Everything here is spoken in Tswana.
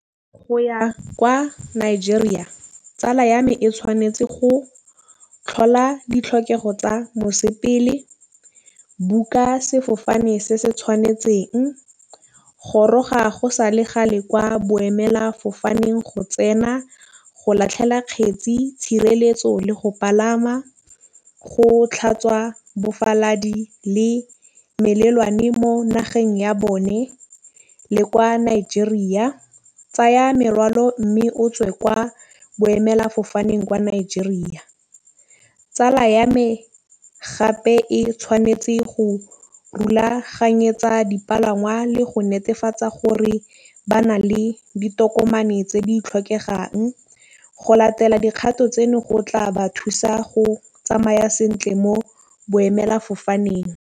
Go ya kwa Nigeria tsala ya me e tšhwanetse go tlhola ditlhokego tsa , book-a sefofane se se tšhwanetseng. Gologa e sa le kgale kwa boemela fofane. Go tsena go lahlela kgetsi tšhireletso le go pagama. Go tlhatswa bofaladi le mo nageng ya bone le kwa Nigeria. Tsaya merwalo mme o tswe kwa boemela fofaneng kwa Nigeria. Tsala ya me gape e tšhwanetse go dipalangwa le go netefatsa gore ba na le ditokomane tse di tlhokegang. Go latela di kgato go tla thusa go tsamaya sentle mo boemela fofaneng.